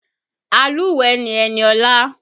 Alúùwẹ́ ni Eniola